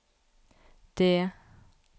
D